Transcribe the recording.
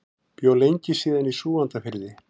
Bjó lengi síðan í Súgandafirði.